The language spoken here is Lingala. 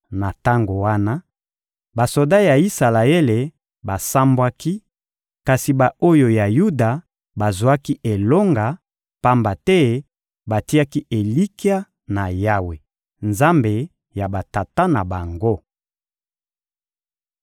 Na tango wana, basoda ya Isalaele basambwaki; kasi ba-oyo ya Yuda bazwaki elonga, pamba te batiaki elikya na Yawe, Nzambe ya batata na bango.